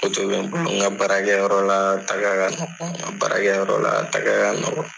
Moto be n bolo n ka baara kɛ yɔrɔ la taga kama , n ka bara kɛ yɔrɔ la taga ka nɔgɔ.